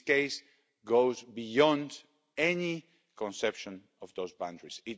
This case goes beyond any conception of those boundaries.